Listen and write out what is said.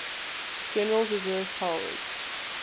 general's reserve powers